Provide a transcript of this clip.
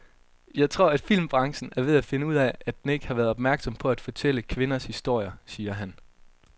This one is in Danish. Jeg tror, at filmbranchen er ved at finde ud af, at den ikke har været opmærksom på at fortælle kvinders historier, siger han.